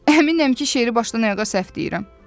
Əminəm ki, şeiri başdan ayağa səhv deyirəm.